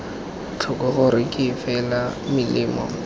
tlhoko gore ke fela melemo